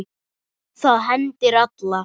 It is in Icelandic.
Það hendir alla